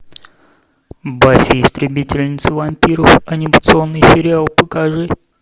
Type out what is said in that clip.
баффи истребительница вампиров анимационный сериал покажи